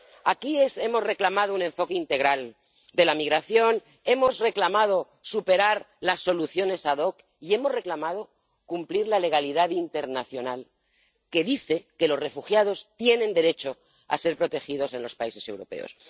Aquí hemos reclamado un enfoque integral de la migración, hemos reclamado que se superen las soluciones ad hoc y hemos reclamado que se cumpla la legalidad internacional, que dice que los refugiados tienen derecho a ser protegidos en los países europeos.